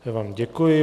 Já vám děkuji.